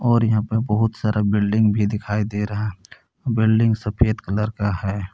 और यहा पे बहुत सारा बिल्डिंग भी दिखाई दे रहा बिल्डिंग सफेद कलर का है।